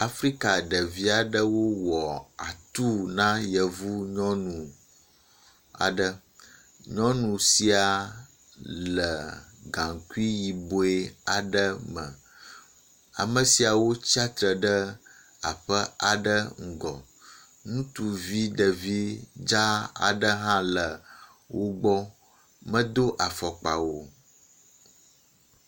Afrika ɖevi aɖewo wɔ atu na yevu nyɔnu aɖe. Nyɔnu sia le gaŋkui yibɔ aɖe me. Ame siawo tsatsitre ɖe aƒe aɖe ŋgɔ, ŋutsuvi ɖevi dza aɖe hã le wo gbɔ, medo afɔkpa o.